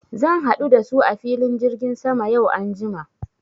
Zan haɗu da su a filin jirgin sama yau anjima.